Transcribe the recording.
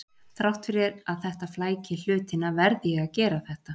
Þrátt fyrir að þetta flæki hlutina verð ég að gera þetta.